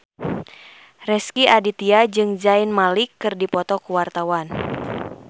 Rezky Aditya jeung Zayn Malik keur dipoto ku wartawan